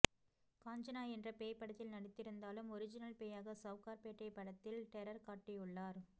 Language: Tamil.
காஞ்சனா என்ற பேய் படத்தில் நடித்திருந்தாலும் ஒரிஜினல் பேயாக சவுகார் பேட்டை படத்தில் டெரர் காட்டியுள்ளார்